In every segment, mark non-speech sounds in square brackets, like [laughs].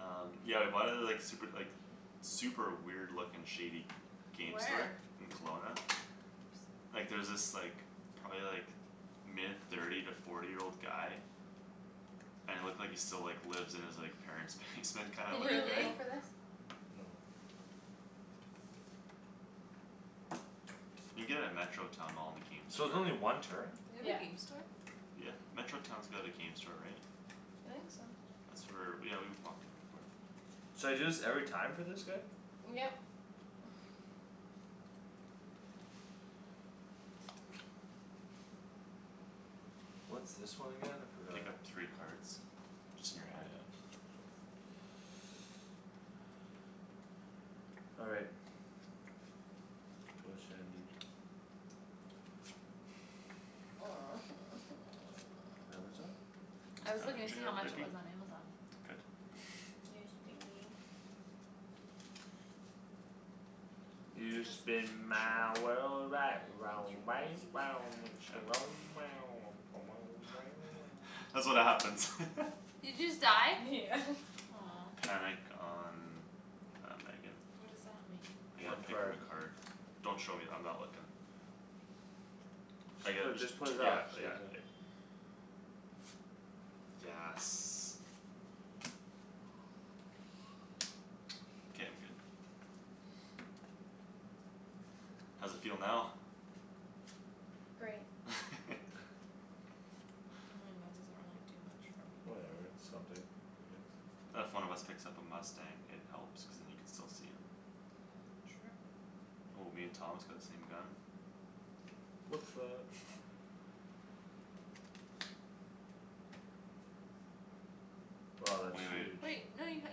Um, yeah, we bought it at the, like, super, like, [noise] super weird looking shady game store. Where? In Kelowna. Oops. Like, there was this, like, probably like mid thirty to forty year old guy And it looked like he still, like, lives in his, like, parents' [noise] basement [laughs] kinda Did looking you guy. go Really? for this? No. You can get it at Metro Town mall in the game So it's store. only one turn? They have a Yeah. game store? Yeah. Metro Town's got a game store, right? I think so. That's where, yeah, we've walked in there before. So I do this every time for this guy? Yep. [noise] What's this one again? I forgot. Pick up three cards. Just in Yeah, your hand. that's [inaudible] [noise] All right. [noise] Go Shandie. Amazon? [noise] I It's was not in looking to see how jail, much it biggie. was on Amazon. Good. [laughs] Yes, be mean. [noise] You [inaudible] [noise] spin my Shandryn. world right round, I want right to round, [inaudible] when [inaudible] [noise] Shan [laughs] [laughs] [inaudible] That's what happens. [laughs] Did you just die? Yeah. [laughs] Aw. Panic on, uh, Megan. What does that mean? I get One to pick from card. a card. [noise] Don't show me; I'm not looking. I Just get put, just just put t- it yeah, back, so you're yeah, done. yeah. Yes. K, I'm good. How's it feel now? Great. [laughs] I mean, [laughs] that doesn't really do much for me. Whatever, it's something. I guess. If one of us picks up a mustang, it helps cuz then you can still see him. True. Oh, me and Thomas got the same gun. What's up! [laughs] Wow, that's Wai- wait. huge. Wait, no, you h-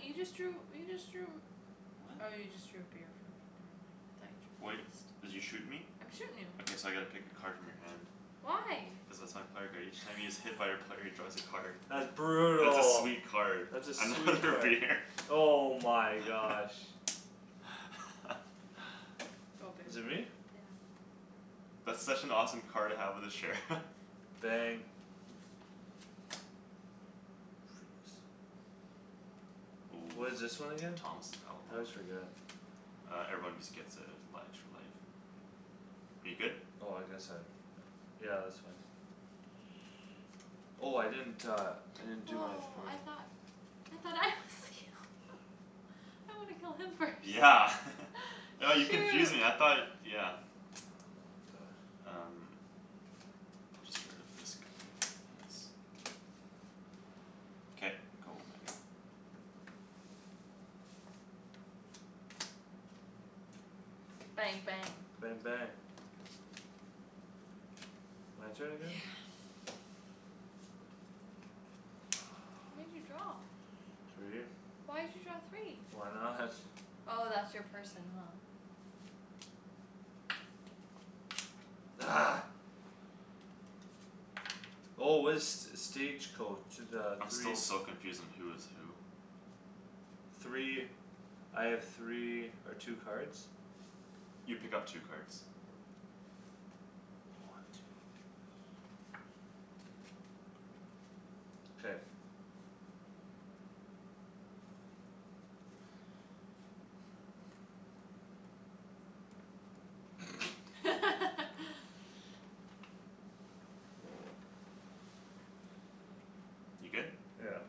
you just drew, you just drew Oh, you just drew a What? beer from me, never mind. I thought you drew Wait, this. did you shoot me? I'm shootin' you. Okay, so I gotta pick a card from your hand. Why? Cuz that's my player card. Each time he is hit by a player, he draws a card. That's That's a brutal. sweet card. That's a sweet Another card. beer. [laughs] Oh my gosh. [laughs] Go, Is it babe. me? Yeah. That's such an awesome card to have with a sheriff. [laughs] Bang. Freaks. Ooh, What is this one so again? Thomas is I outlaw? always forget. Uh, everyone just gets a li- extra life. Are you good? Oh, I guess I have, yeah. Yeah, that's fine. [noise] Oh, I didn't uh, I didn't do that for Oh, I you. thought I thought I was the outlaw. [laughs] I wanna kill him first. Yeah. [laughs] [laughs] Oh, you confused me, I Shoot. thought, yeah. [inaudible] Um. I'll just get rid of this gun, yes. K, go, Megan. Bang, bang. Bang, bang. My turn Yeah. again? How many did [noise] you [noise] draw? [noise] Three. Why'd you draw three? Why not? [laughs] Oh, that's your person, huh? Argh. Oh, what is st- stage coach, the I'm still three so confused on who is who. Three, I have three or two cards? You pick up two cards. One, two. K. [noise] [noise] [laughs] You good? Yeah.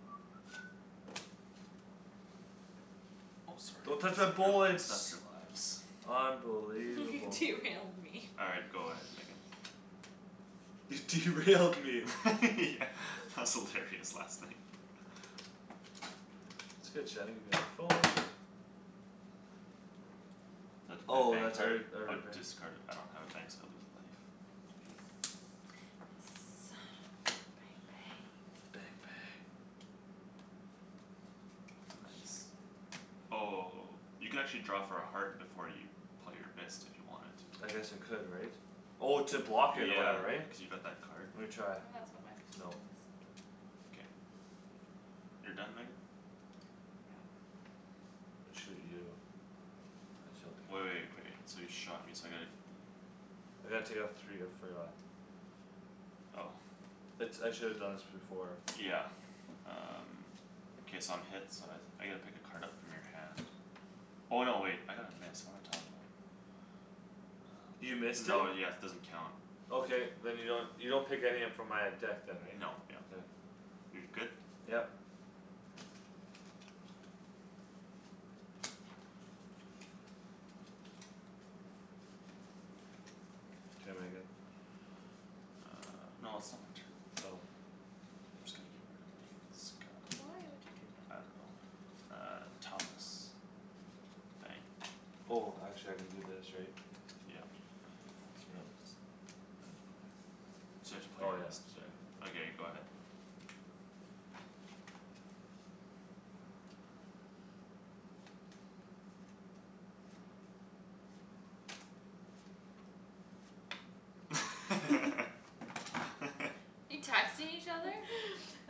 [noise] Oh, sorry. Don't touch Messed my up your, messed up bullets. your lives. Unbelievable. [laughs] Derailed me. All right, go ahead Megan. You derailed me. [laughs] Yeah, that was hilarious last night. That's good Shandryn; give me that phone. [noise] So I have to play a Oh, bang that's every, card? Or every bang. discard a- I don't have a bang so I lose a life. Mkay. [noise] Yes. Bang, bang. Bang, bang. Nice. [inaudible] Oh, you can actually draw for a heart before you play your missed if you wanted to. I guess I could, right? Oh, to block it or Yeah, whatever, right? cuz you got that card. Lemme try. Oh, that's what my person No. is. K. You're done, Megan? Yeah. I shoot you. I shall pick Wai- wait, wait, this [inaudible] so you shot me so I gotta I gotta take off three, I forgot. Oh. It's, I shoulda done this before. Yeah. Um K, so I'm hit, so I s- I get to pick a card up from your hand. Oh, no, wait, I got a miss, what am I talking about? [noise] You Um [noise] missed it? no, yes, it doesn't count. Okay, then you don't, you don't pick any up from my uh deck then, right? Nope, yep. Okay. You're good? Yep. K, Megan. [noise] Uh, no, it's still my turn. Oh. I'm just gonna get rid of Megan's gun. But why would you do I that? don't know. Uh, Thomas. Bang. Oh, actually I can do this, right? Yep. No, but that's [noise] So now yours. it's, that's five? So you have to play Oh your yeah, missed, sorry. yeah. Okay, go ahead. [laughs] [laughs] [laughs] You texting [noise] each other? [laughs] [noise]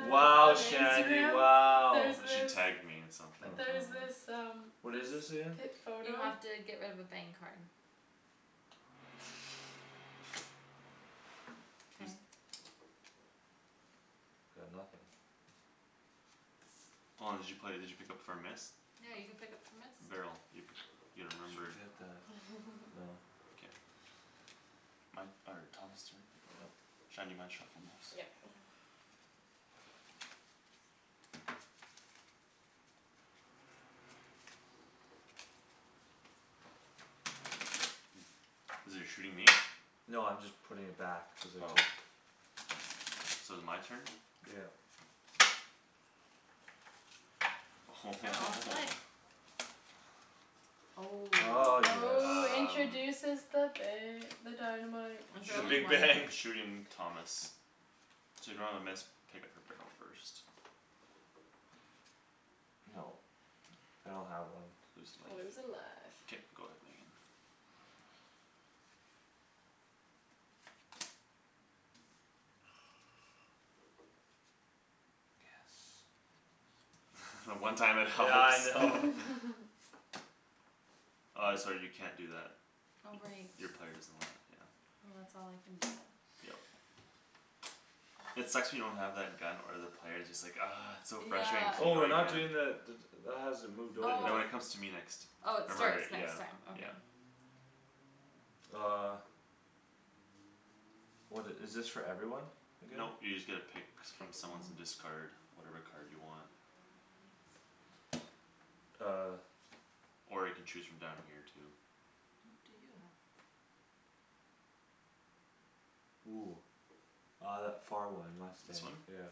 Wow, Shandie, Instagram, wow. there's [inaudible] she this tagged me in something. there's Oh. this Oh. um What is this this again? pip You photo have to get rid of a bang card. [laughs] [noise] K. [inaudible] Got nothing. Hold on, did you play, did you pick up for a miss? No, you can pick [noise] up for missed? Barrel. You p- you Just remember forget that. [laughs] No. K. My, or, Thomas' turn? Yep. Shan, you mind shuffling those? Yep. [noise] [noise] [inaudible] You're shooting me? No, I'm just putting it back cuz I Oh. took So is my turn? Yep. [noise] [inaudible] [laughs] [noise] Oh. Ah, yes. Oh, Um. introduces the ba- the dynamite. I The I'll draw only big shoot, one. bang. [laughs] shooting Thomas. So if you don't have a miss, pick up for barrel first. Nope. [noise] I don't have one. Lose Lose a life. life. K, go ahead, Megan. Yes. [laughs] The one time it helps. Yeah, I [laughs] know. [laughs] [laughs] Uh, [inaudible] sorry, you can't do that. Oh, right. Y- your player doesn't allow it, yeah. Well, that's all I [noise] can do then. Yep. [noise] It sucks when you don't have that gun or the player; it's just like, argh. It's just so frustrating Yeah. cuz you Oh, know we're you not can. doing the d- d- that hasn't moved over, Th- no, Oh. right? it comes to me next. Oh, it Remember, Oh. starts yeah. next time. Okay. Yeah. Uh. What i- is this for everyone again? Nope, you just get to pick Pick from someone. someone's and discard whatever card you want. Uh. Or you can choose from down here too. What do you have? Ooh. Uh, that far one, This mustang. one? Yeah.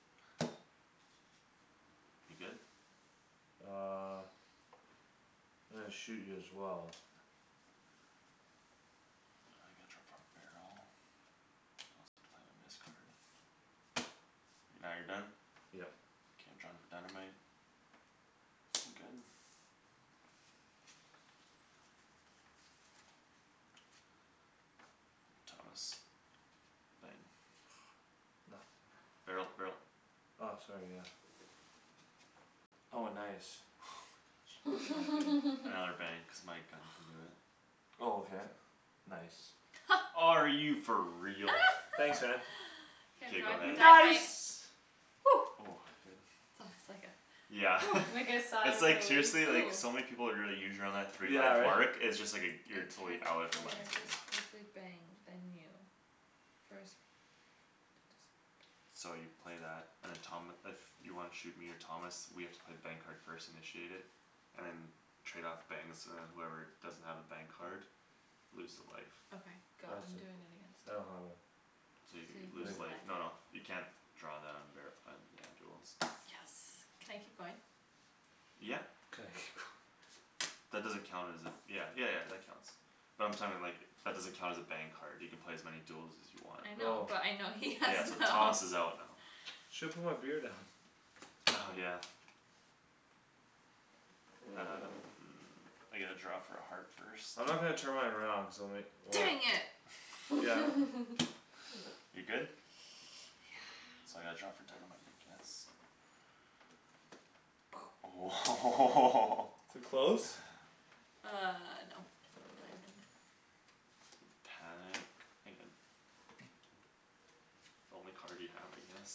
[noise] You're good? Uh. I'm gonna shoot you as well. Uh, I gotta draw for a barrel? I also have to play my miss card. Now you're done? Yep. K, I'm drawing for dynamite. I'm good. [noise] Thomas. Bang. [noise] Nothing. Barrel, barrel. Ah, sorry, yeah. Oh, nice. Oh my gosh. [inaudible] Another [laughs] bang cuz my gun can do it. Oh, okay. Nice. [laughs] Are you for real? Thanks, man. [laughs] [noise] K, I'm K, go drawing for ahead. dynamite. Nice! Oh, good. That was like a Yeah. [noise] [laughs] Like a sigh It's of like relief. seriously, like, Ooh. so many people would really [inaudible] three Yeah, life right? mark; it's just like a, A you're totally out target if it player lands on you. discards a bang, then you. First player to discard So you play that and then Tom, if you wanna shoot me or Thomas, we have to play bang card first, initiate it. And then trade off bangs, and then whoever doesn't have a bang card Loses a life. Okay, go. I I'm see. doing it against I you. don't have one. So you So you lose lose a life. life, [inaudible] no, no, you can't draw that on bar- on, yeah, duels. Yes. Can I keep going? Yeah. Can I keep going. [laughs] That doesn't count as a, yeah, yeah yeah, that counts. But I'm [inaudible] like, that doesn't count as a bang card. You can play as many duels as you want. I know, Oh. but I know he has Yeah, so none. Thomas is [laughs] out now. Shoulda put my beer down. [laughs] Oh, yeah. Um, I get to draw for a heart first. I'm not gonna turn mine around cuz I'll ma- well Dang Why? it! Yeah. [laughs] [laughs] [laughs] [noise] You're good? Yeah. So I gotta draw for dynamite, I guess. [noise] Oh [laughs] Too close? [laughs] Uh, no. Diamond. [noise] Panic, Megan. The only card you have, I guess.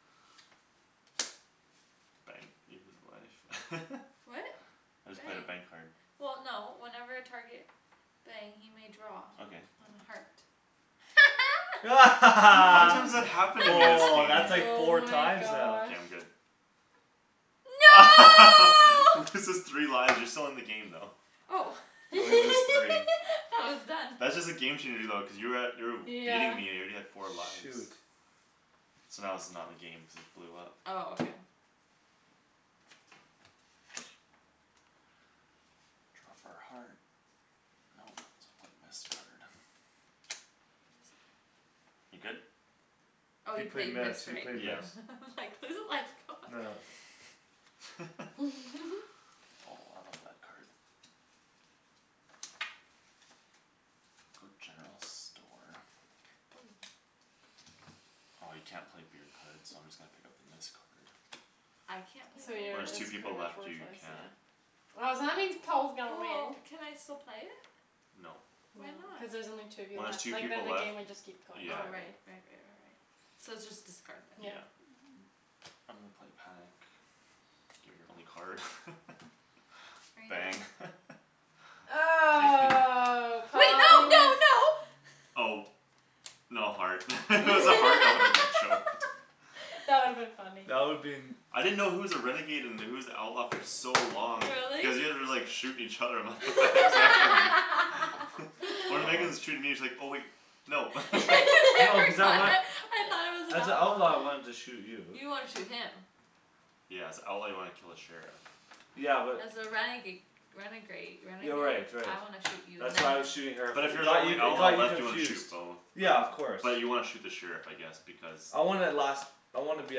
[noise] Bang. You lose a life. [laughs] What? I just played a bang Bang. card. Well, no, whenever a target Bang, he may draw Okay. on a heart. [laughs] [laughs] How many Woah, times that [laughs] happened to me this game? [laughs] that's like Oh four my times now. K, gosh. I'm good. [laughs] No! Loses three lives, you're still in the game, though. Oh. You [laughs] only lose three. [laughs] Thought it was [laughs] done. That's just a game changer, though cuz you were at, you were w- beating Yeah. me, you're already at four lives. Shoot. So now this is not in the game, cuz it blew up. Oh, okay. [noise] Draw for a heart. Nope, so I'll play a missed card. You lose a life. You good? Oh, He you play played miss, missed, he right? played Yeah. miss. [laughs] I'm like, "Lose a life, god." Nah. [noise] [noise] [laughs] Oh, [laughs] I love that card. Go general store. Oh. Ah, you can't play beer cards so I'm just gonna pick up the miss card. I [noise] can't play So beer When your, there's cards? two it's pretty people much left, you worthless, can't. yeah. Oh, so that means Paul's [noise] gonna Well, win. can I still play it? Nope. No, Why cuz not? there's only two of you When there's left. two Like, then people the left, game would just keep [noise] going yeah. Oh, forever. right. Right right right right.. So it's just discard [noise] then. Yeah. Yeah. I'm gonna play panic. Gimme your only card. [laughs] Are you Bang. done? [laughs] Oh, [laughs] Wait, no, no, Paul [inaudible] no! Oh. No heart. [laughs] If it was a heart, I woulda been choked. [laughs] [noise] That would've been funny. That would been I didn't know who was a renegade and who was the outlaw for so long. Really? Cuz you guys were, like, shooting each other, I'm like, "What the heck is happening?" [laughs] [laughs] When Outlaw. Megan's [laughs] [laughs] shooting me, it's like, oh wait, no. [laughs] [laughs] No, cuz [laughs] I want [inaudible] I thought I was an As a outlaw, I outlaw. wanted to shoot you. You wanna shoot him. Yeah, as a outlaw, you wanna kill the sheriff. Yeah, but. As a renega- renegrade, Yeah, renegade? right, right. I wanna shoot you and That's then why I her. was shooting her But f- if it you're the got you, only it outlaw got you left, you wanna shoot confused. both. Yeah, But, of course. but you wanna shoot the sheriff, I guess, because I wanna last, I wanna be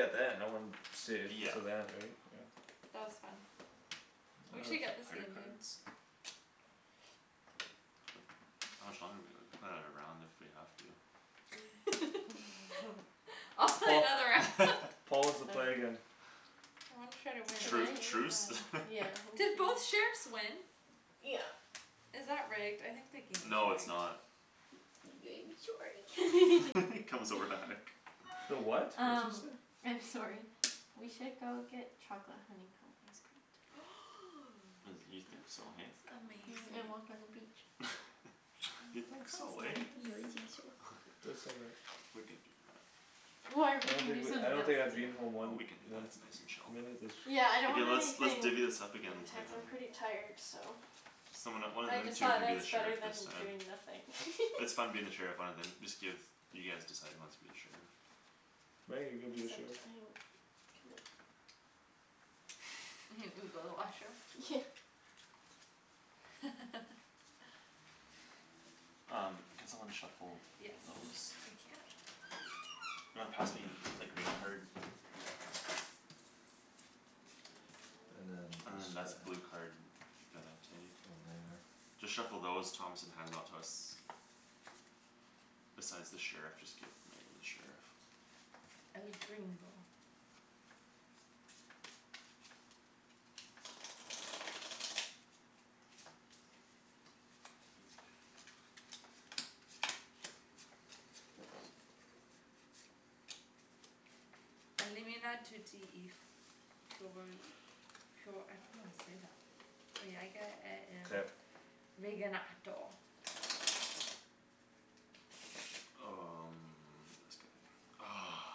at the end, I wanna stay Yeah. till the end, right? Yeah. That was fun. It We Uh, was. should get this player game, babe. cards? [noise] How much [noise] longer do we have? We can play another round if we have to. [laughs] [laughs] I'll play Paul, another round. [laughs] [laughs] Paul wants to All play right. again. Well, I'm try to win, Can Tru- that I? was really truce? fun. Yeah, [laughs] Did okay. both sheriffs win? Yeah. Is that rigged? I think the game's No, it's rigged. not. [noise] [inaudible] sorry. [laughs] [laughs] comes over to hug. The what? What's Um it say? I'm sorry. [laughs] We should go get chocolate honeycomb ice cream tonight. [noise] And, you That think so, hey? sounds amazing. Mhm, [noise] and walk [noise] on the beach. [laughs] [noise] You Aw, that think sounds so, eh? nice. Yeah, I think so. Do it so much. [laughs] We can do that. Or I we don't could think do w- I something don't else think I'd too. be in home Well, one, we can do that, one it's nice and chill. minute this Yeah, I don't Okay, want let's, let's anything divvy this up again and play intense, I'm pretty another. tired, so. Someone that- one of I them just two thought can that be the it's better sheriff this than time. doing nothing. [laughs] It's fun being the sheriff, one of them, just give, you guys decide who wants to be the sheriff. Meg, are you gonna be the Except sheriff? I have [inaudible] [inaudible] [laughs] go to the washroom. [laughs] Um, can someone shuffle Yes, those? [noise] I can. You wanna pass me the green card? Yeah. And then And this then guy. that's blue card, you gotta take. Then there Just shuffle those, Thomas, and hand them out to us. Besides the sheriff, just give Megan the sheriff. El Gringo. [inaudible] I don't know how to say that. Mkay. [inaudible] [inaudible] Um, this guy. Ah.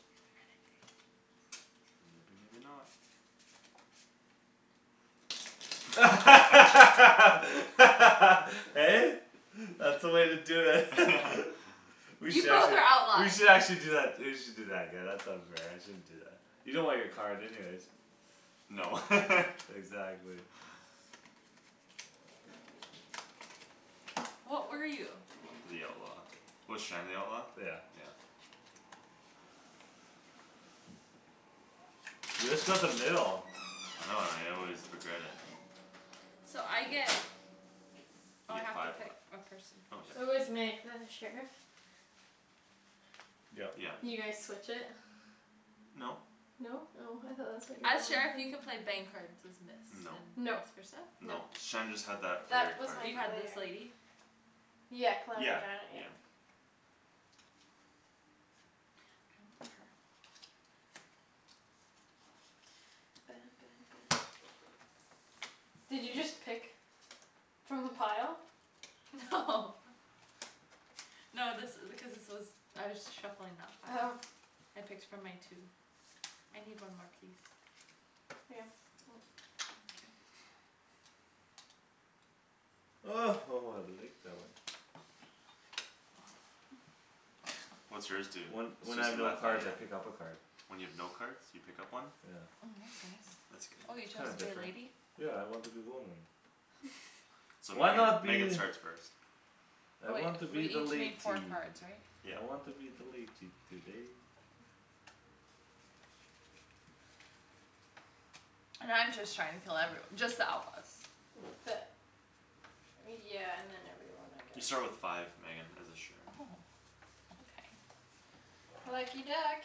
You're the renegade. Maybe, maybe not. [laughs] [laughs] Hey? [laughs] That's the way to [laughs] do it. [laughs] [laughs] We You should both actually, are we outlaws! should actually do that, we should do that again, that sounds fair, I shouldn't do that. You don't want your card anyways. No. [laughs] [laughs] Exactly. [noise] What were you? The outlaw. Was Shan the outlaw? Yeah. Yeah. You just got the middle. I know, and I always regret it. So I get You Oh, I get have to five life. pick a person. Oh, yeah, Who is Meg, yeah. the sheriff? Yep. Yeah. You guys Mhm. switch it? [noise] No. No? Oh, I thought that's what you As sheriff, you can were [inaudible] play bang cards as miss No. and Nope. vice versa? Nope. No. Shan just had that player That was card my [inaudible] You had this player. lady? Yeah, Calamity Yeah. Janet, yeah. Yeah. [noise] I want her. [noise] Did you just pick From the pile? No. [laughs] No, this i- because this was I was shuffling that pile. Oh. I picked from my two. I need one more, please. Yeah. [noise] Thank you. [noise] Oh, oh, I like that one. What's [laughs] yours do? When, when I have Suzy no cards, I Lafayette? pick up a card. When you have no cards, you pick up one? Yeah. Mm, that's [noise] nice. That's Oh, you good. chose Kinda to be a different. lady? Yeah, I want to be woman. [laughs] [laughs] So Why Megan, not Megan be starts first. I Oh, wait, want to we be the each latey. need four cards, right? Yeah. I want to be the latey today. And I'm just trying to kill everyo- [noise] just the outlaws. The Yeah, and then everyone, I You guess. start with five, Megan, as a sheriff. Oh. Okay. Lucky duck.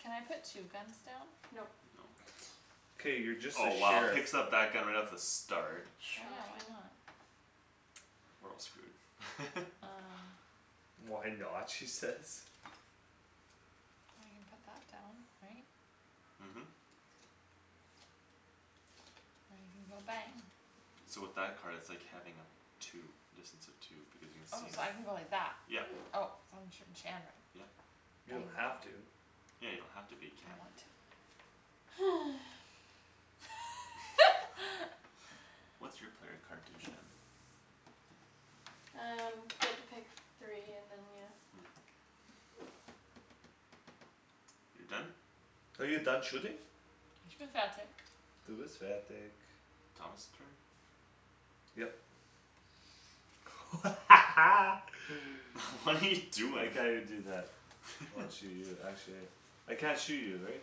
Can I put two guns down? Nope. No. [laughs] K, you're just the Oh, wow, sheriff. picks up that gun right off the start. Well, yeah, why Shocking. not? We're all screwed. [laughs] Um. "Why not?" she says. Well, I can put that down, right? Mhm. [inaudible] go bang. So with that card, it's like having a [noise] two, distance of two, because you can Oh, see so him, I can go like that. yep. Oh, so I'm shooting Shandryn. Yep. You Bang, don't bang. have to. Yeah, you don't have to, but you I can. want to. [noise] [laughs] [laughs] What's your player card do, Shan? Um, get to pick three and then, yeah. Mm. You're done? Are you done shooting? [inaudible] Du bist fertig. Thomas' turn? Yep. [laughs] [noise] [laughs] What are you I doing? can't even do that. I wanna [laughs] shoot you, actually. I can't shoot you, right?